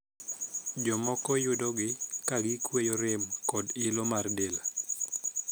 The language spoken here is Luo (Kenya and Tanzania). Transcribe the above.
Jomoko yudogi ka gikweyo rem kod iloo mar del.